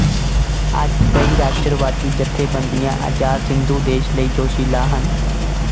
ਅੱਜ ਕਈ ਰਾਸ਼ਟਰਵਾਦੀ ਜਥੇਬੰਦੀਆਂ ਅਜ਼ਾਦ ਸਿੰਧੂਦੇਸ਼ ਲਈ ਜੋਸ਼ੀਲਾ ਹਨ